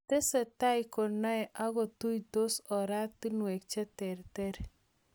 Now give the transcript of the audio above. Tesetai konaei ak kotuytos oratunwek che terter